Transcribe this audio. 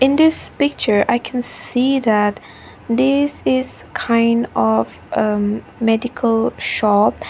this picture i can see that this is kind of a medical shop.